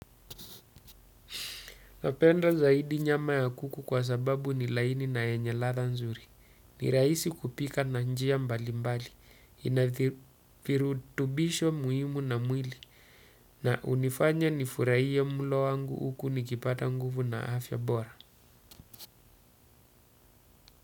Napenda zaidi nyama ya kuku kwa sababu ni laini na yenye ladha nzuri. Nirahisi kupika na njia mbali mbali, inavirutubisho muhimu na mwili na hunifanya nifurahie mlo wangu huku nikipata nguvu na afya bora.